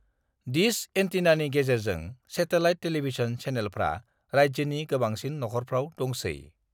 Dish एंटीनानि गेजेरजों satellite television चेनेलफ्रा राज्योनि गोबांसिन नखरफ्राव दंसै।